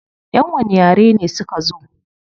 Yan wani yare ne suka zo?